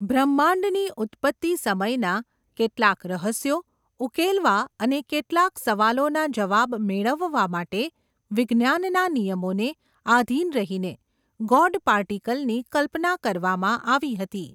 બ્રહ્માંડની ઉત્પત્તિ સમયનાં, કેટલાંક રહસ્યો, ઉકેલવા અને, કેટલાક સવાલોના જવાબ મેળવવા માટે, વિજ્ઞાનના નિયમોને, આધીન રહીને, ગૉડ પાર્ટિકલની, કલ્પના કરવામાં આવી હતી.